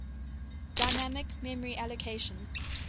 dynamic memory allocation